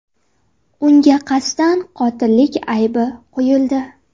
Unga qasddan qotillik aybi qo‘yildi.